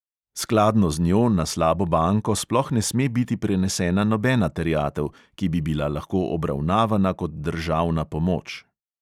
Skladno z njo na slabo banko sploh ne sme biti prenesena nobena terjatev, ki bi bila lahko obravnavana kot državna pomoč.